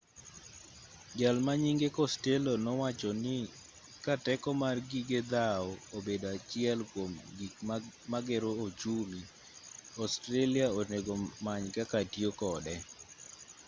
jalma nyinge costello nowachoni ka teko mar gige dhawo obedo achiel kuom gik magero ochumi australia onego many kaka tiyo kode